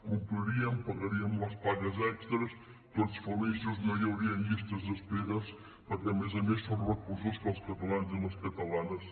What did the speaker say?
compliríem pagaríem les pagues extres tots feliços no hi haurien llistes d’espera perquè a més a més són recursos que els catalans i les catalanes